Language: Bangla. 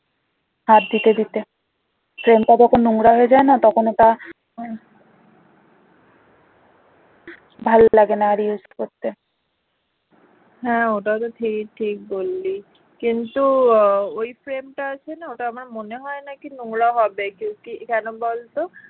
হ্যাঁ ওটা তো তুই ঠিক বললি কিন্তু ওই frame টা আছে না ওটা আমার মনে হয় নাকি নোংরা হবে। কেন বলতো